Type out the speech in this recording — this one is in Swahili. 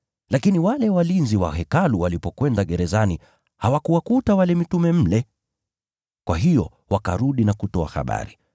Lakini wale walinzi wa Hekalu walipokwenda gerezani hawakuwakuta mitume mle. Kwa hiyo wakarudi na kutoa habari.